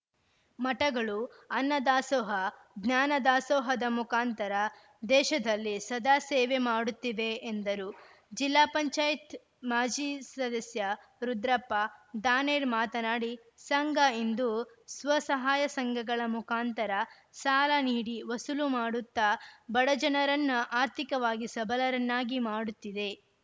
ಮಠಗಳು ಅನ್ನದಾಸೋಹ ಜ್ಞಾನದಾಸೋಹದ ಮುಖಾಂತರ ದೇಶದಲ್ಲಿ ಸದಾ ಸೇವೆ ಮಾಡುತ್ತಿದೆ ಎಂದರು ಜಿಲ್ಲಾ ಪಂಚಾಯತ್ ಮಾಜಿ ಸದಸ್ಯ ರುದ್ರಪ್ಪ ದಾನೇರ್‌ ಮಾತನಾಡಿ ಸಂಘ ಇಂದು ಸ್ವಸಹಾಯ ಸಂಘಗಳ ಮುಖಾಂತರ ಸಾಲ ನೀಡಿ ವಸೂಲು ಮಾಡುತ್ತ ಬಡಜನರನ್ನ ಆರ್ಥಿಕವಾಗಿ ಸಬಲರನ್ನಾಗಿ ಮಾಡುತ್ತಿದೆ